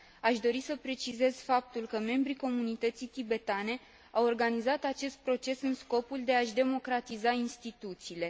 Aș dori să precizez faptul că membrii comunității tibetane au organizat acest proces în scopul de a și democratiza instituțiile.